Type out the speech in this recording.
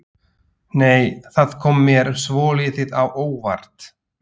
Nei! Það kom mér svolítið á óvart!